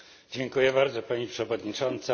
Dziękuję bardzo Pani Przewodnicząca!